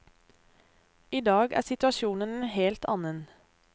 I dag er situasjonen en helt annen.